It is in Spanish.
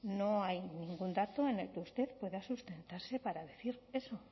vacunación no hay ningún dato en el que usted pueda sustentarse para decir eso